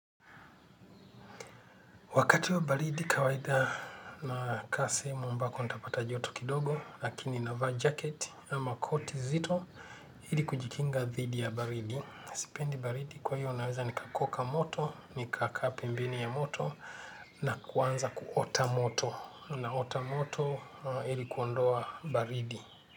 Wakati wa baridi kawaida nakaa sehemu ambako nitapata joto kidogo, lakini navaa jaketi ama koti zito ili kujikinga dhidi ya baridi. Sipendi baridi kwa hiyo naweza nikakoka moto, nikakaa pembeni ya moto na kuanza kuota moto. Naota moto ili kuondoa baridi.